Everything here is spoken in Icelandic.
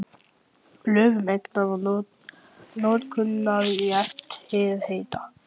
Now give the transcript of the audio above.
Lög um eignar- og notkunarrétt jarðhita.